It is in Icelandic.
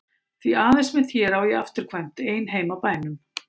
Því aðeins með þér á ég afturkvæmt ein heim að bænum.